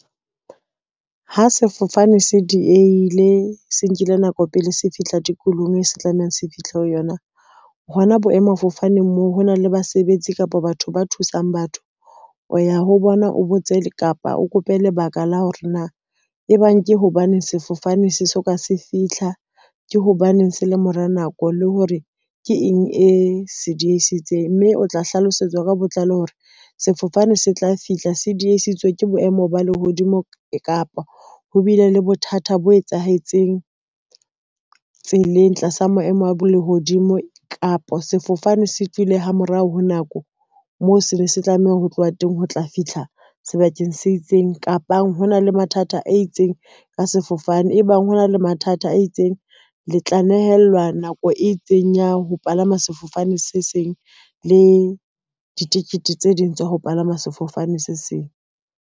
Ha sefofane se diehile, se nkile nako pele se fihla dikolong, se tlamehang se fihle ho yona, hona boemafofaneng moo ho na le basebetsi kapa batho ba thusang batho, o ya ho bona o botse kapa o kope lebaka la hore na e bang ke hobaneng sefofane se so ka se fitlha. Ke hobaneng se le mora nako le hore ke eng e se diehisitseng, mme o tla hlalosetswa ka botlalo hore sefofane se tla fihla, se diehisitswe ke boemo ba lehodimo kapo ho bile le bothata bo etsahetseng tseleng tlasa maemo a bo lehodimo kapa sefofane se tswile ha morao ho nako mo sene se tlameha ho tloha teng ho tla fitlha sebakeng se itseng, kapo hona le mathata a itseng ka sefofane, ebang ho na le mathata a itseng, le tla nehelwa nako e itseng ya ho palama sefofane se seng le ditikete tse ding tsa ho palama sefofane se seng.